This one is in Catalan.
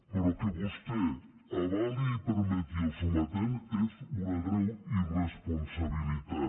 però que vostè avali i permeti el sometent és una greu irresponsabilitat